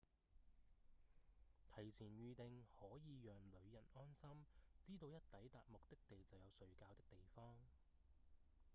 提前預訂可以讓旅人安心知道一抵達目的地就有睡覺的地方